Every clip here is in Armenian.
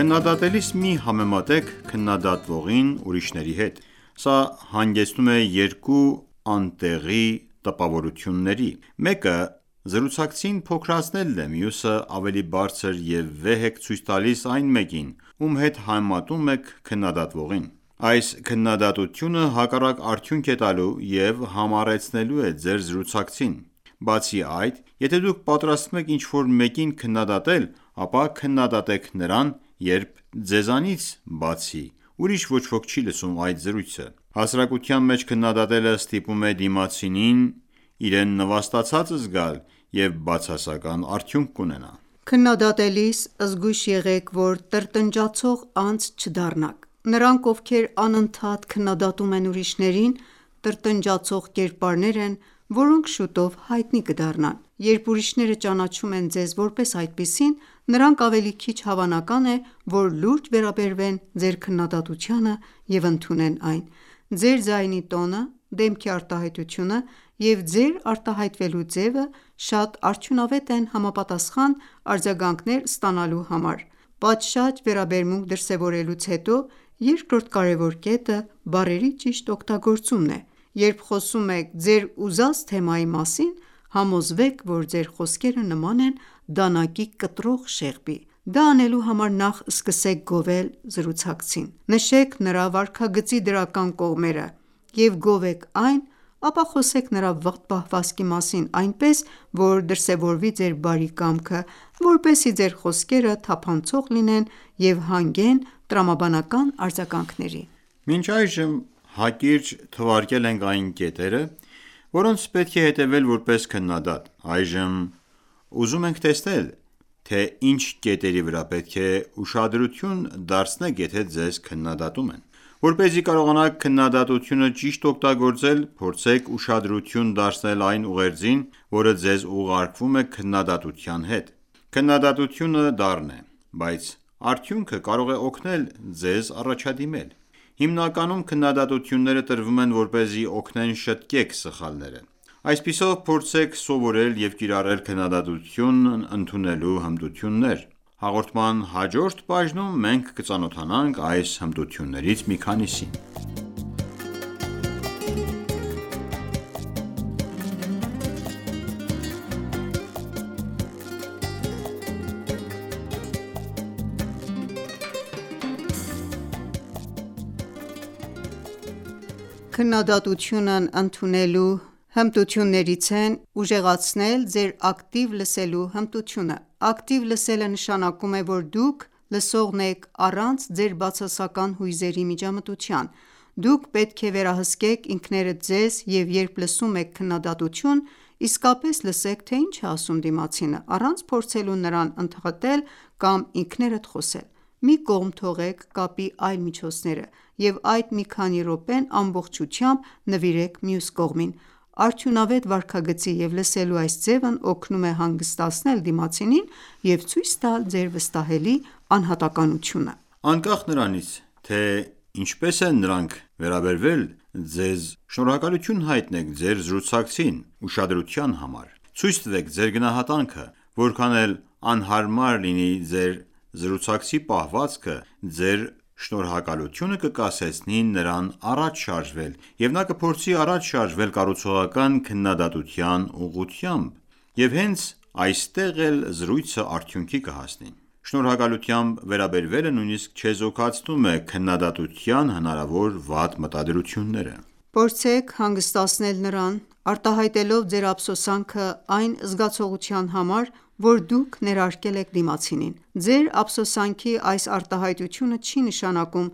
Քննադատելիս մի համեմատեք քննադատվողին ուրիշների հետ։ Սա հանգեցնում է երկու անտեղի տպավորությունների: Մեկը զրուցակցին փոքրացնելն է, մյուսը՝ ավելի բարձր և վեհ եք ցույց տալիս այն մեկին, ում հետ համեմատում եք քննադատվողին: Այս քննադատությունը հակառակ արդյունք է տալու և համառեցնելու է ձեր զրուցակցին: Բացի այդ, եթե դուք պատրաստվում եք ինչ-որ մեկին քննադատել, ապա քննադատեք նրան, երբ ձեզանից բացի ուրիշ ոչ ոք չի լսում այդ զրույցը: Հասարակության մեջ քննադատելը ստիպում է դիմացինին իրեն նվաստացած զգալ և բացասական արդյունք կունենա։ Քննադատելիս զգույշ եղեք, որ տրտնջացող անձ չդառնաք։ Նրանք, ովքեր անընդհատ քննադատում են ուրիշներին, տրտնջացող կերպարներ են, որոնք շուտով հայտնի կդառնան: Երբ ուրիշները ճանաչում են ձեզ որպես այդպիսին, նրանք ավելի քիչ հավանական է, որ լուրջ վերաբերվեն ձեր քննադատությանը և ընդունեն այն: Ձեր ձայնի տոնը, դեմքի արտահայտությունը և ձեր արտահայտվելու ձևը շատ արդյունավետ են համապատասխան արձագանքներ ստանալու համար: Պատշաճ վերաբերմունք դրսևորելուց հետո երկրորդ կարևոր կետը բառերի ճիշտ օգտագործումն է։ Երբ խոսում եք ձեր ուզած թեմայի մասին, համոզվեք, որ ձեր խոսքերը նման են դանակի կտրող շեղբի: Դա անելու համար նախ սկսեք գովել զրուցակցին: Նշեք նրա վարքագծի դրական կողմերը և գովեք այն, ապա խոսեք նրա վատ պահվածքի մասին այնպես, որ դրսևորվի ձեր բարի կամքը, որպեսզի ձեր խոսքերը թափանցող լինեն և հանգեն տրամաբանական արձագանքների: Մինչ այժմ մենք հակիրճ թվարկել ենք այն կետերը, որոնց պետք է հետևել որպես քննադատ։ Այժմ մենք ուզում ենք տեսնել, թե ինչ կետերի վրա պետք է ուշադրություն դարձնեք, եթե ձեզ քննադատում են։ Որպեսզի կարողանաք քննադատությունը ճիշտ օգտագործել, փորձեք ուշադրություն դարձնել այն ուղերձին, որը ձեզ ուղարկվում է քննադատության հետ։ Քննադատությունը դառն է, բայց արդյունքը կարող է օգնել ձեզ առաջադիմել: Հիմնականում քննադատությունները տրվում են, որպեսզի օգնեն շտկեք սխալները։ Այսպիսով, փորձեք սովորել և կիրառել քննադատությունն ընդունելու հմտություններ: Հաղորդման հաջորդ բաժնում մենք կծանոթանանք այս հմտություններից մի քանիսին: Նախ, դուք պետք է ուժեղացնեք ձեր ակտիվ լսելու հմտությունները: Ակտիվ լսելը նշանակում է, որ դուք լսողն եք առանց ձեր բացասական հույզերի միջամտության: Դուք պետք է վերահսկեք ինքներդ ձեզ և երբ լսում եք քննադատություն, իսկապես լսեք, թե ինչ է ասում դիմացինը, առանց փորձելու նրան ընդհատել կամ ինքներդ խոսել: Մի կողմ թողեք կապի այլ միջոցները և այդ մի քանի րոպեն ամբողջությամբ նվիրեք մյուս կողմին։ Արդյունավետ վարքագծի և լսելու այս ձևն օգնում է հանգստացնել դիմացինին և ցույց տալ ձեր վստահելի անհատականությունը։ Անկախ նրանից, թե ինչպես են նրանք վերաբերվել ձեզ շնորհակալություն հայտնեք ձեր զրուցակցին ուշադրության համար: Ցույց տվեք ձեր գնահատանքը: Որքան էլ անհարմար լինի ձեր զրուցակցի պահվածքը, ձեր շնորհակալությունը կկասեցնի նրան առաջ շարժվել, և նա կփորձի առաջ շարժվել կառուցողական քննադատության ուղղությամբ, և հենց այստեղ էլ զրույցը արդյունքի կհասնի։ Շնորհակալությամբ վերաբերվելը նույնիսկ չեզոքացնում է քննադատության հնարավոր վատ մտադրությունները։ Փորձեք հանգստացնել նրան՝ արտահայտելով ձեր ափսոսանքը այն զգացողության համար, որը դուք ներարկել եք դիմացինին։ Ձեր ափսոսանքի այս արտահայտությունը չի նշանակում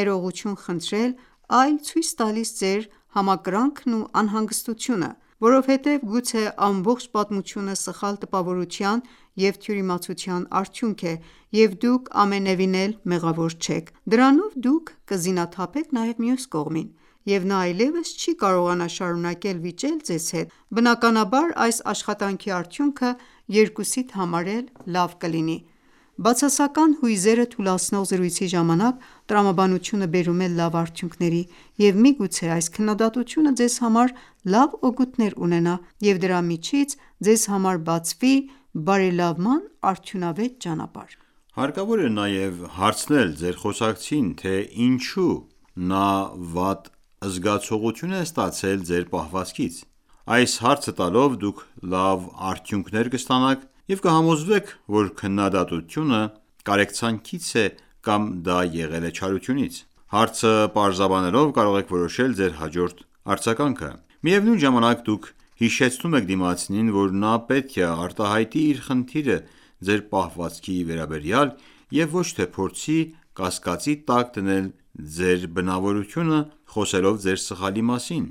ներողություն խնդրել, այլ ցույց տալիս ձեր համակրանքն ու անհանգստությունը։ Որովհետև գուցե ամբողջ պատմությունը սխալ տպավորության և թյուիմացության արդյունք է, և դուք ամենևին էլ մեղավոր չեք։ Դրանով դուք կզինաթափեք նաեւ մյուս կողմին, եւ նա այլեւս չի կարողանա շարունակել վիճել ձեզ հետ։ Բնականաբար, այս աշխատանքի արդյունքը երկուսիդ համար էլ լավ կլինի։ Բացասական հույզերը թուլացնող զրույցի ժամանակ տրամաբանությունը բերում է լավ արդյունքների, և միգուցե այս քննադատությունը ձեզ համար լավ օգուտներ ունենա, և դրա միջից ձեզ համար բացվի բարելավման արդյունավետ ճանապարհ: Հարկավոր է նաև հարցնել ձեր խոսակցին, թե ինչո՞ւ նա վատ զգացողություն է ստացել ձեր պահվածքից։ Այս հարցը տալով՝ դուք լավ արդյունքներ կստանաք և կհամոզվեք, որ քննադատությունը կարեկցանքից է կամ դա եղել է չարությունից։ Հարցը պարզաբանելով՝ կարող եք որոշել ձեր հաջորդ արձագանքը։ Միևնույն ժամանակ, դուք հիշեցնում եք դիմացինին, որ նա պետք է արտահայտի իր խնդիրը ձեր պահվածքի վերաբերյալ և ոչ թե փորձի կասկածի տակ դնել ձեր բնավորությունը՝ խոսելով ձեր սխալի մասին։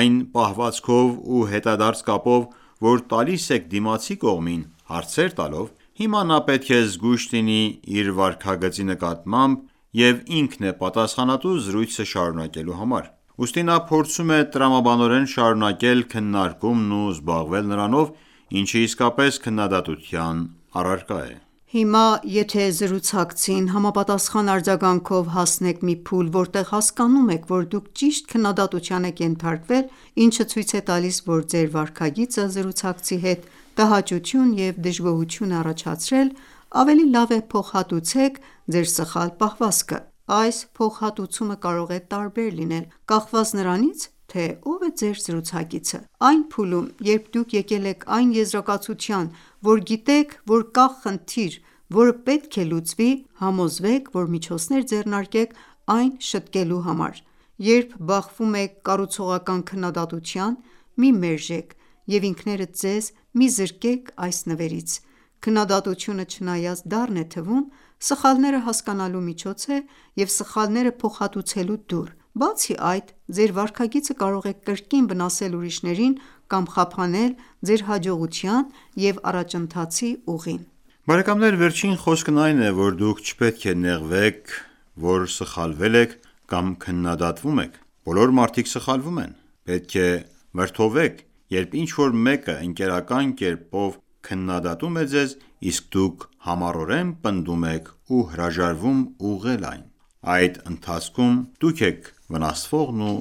Այն պահվածքով ու հետադարձ կապով, որ տալիս եք դիմացի կողմին՝ հարցեր տալով, հիմա նա պետք է զգույշ լինի իր վարքագծի նկատմամբ և ինքն է պատասխանատու զրույցը շարունակելու համար։ Ուստի նա փորձում է տրամաբանորեն շարունակել քննարկումն ու զբաղվել նրանով, ինչը իսկապես քննադատության առարկա է։ Հիմա, եթե զրուցակցին համապատասխան արձագանքով հասնեք մի փուլ, որտեղ հասկանում եք, որ դուք ճիշտ քննադատության եք ենթարկվել, ինչը ցույց է տալիս, որ ձեր վարքագիծը զրուցակցի մոտ տհաճություն և դժգոհություն է առաջացրել, ավելի լավ է փոխհատուցեք ձեր սխալ պահվածքը: Այս փոխհատուցումը կարող է տարբեր լինել՝ կախված նրանից, թե ով է ձեր զրուցակիցը: Այն փուլում, երբ դուք եկել եք այն եզրակացության, որ գիտեք, որ կա խնդիր, որը պետք է լուծվի, համոզվեք, որ միջոցներ ձեռնարկեք այն շտկելու համար: Երբ բախվում եք կառուցողական քննադատության, մի մերժեք և ինքներդ ձեզ մի զրկեք այս նվերից: Քննադատությունը, չնայած դառն է թվում, սխալները հասկանալու միջոց է և սխալները փոխհատուցելու դուռ։ Բացի այդ, ձեր վարքագիծը կարող է կրկին վնասել ուրիշներին կամ խափանել ձեր հաջողության և առաջընթացի ուղին: Վերջին խոսքն այն է, որ դուք չպետք է նեղվեք, որ սխալվել եք կամ քննադատվում եք: Բոլոր մարդիկ սխալվում են: Պետք է վրդովվեք, երբ ինչ-որ մեկը ընկերական կերպով քննադատում է ձեզ, իսկ դուք համառորեն պնդում եք ու հրաժարվում ուղղել այն։ Այդ ընթացքում դուք եք վնասվողն ու